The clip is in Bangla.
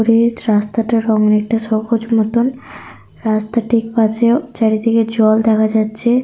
রাস্তাটার রঙ অনেকটা সবুজ মতন। রাস্তাটির পাশে চারিদিকে জল দেখা যাচ্ছে।